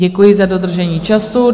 Děkuji za dodržení času.